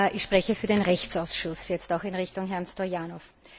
Ich spreche für den Rechtsausschuss, jetzt auch in Richtung Herrn Stoyanov.